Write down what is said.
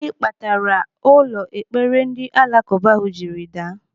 Gịnị kpatara ụlọ ekpere ndị alakụba ahụ jiri daa?